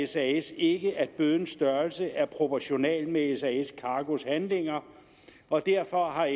sas ikke at bødens størrelse er proportional med sas cargos handlinger og derfor har